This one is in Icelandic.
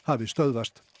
hafi stöðvast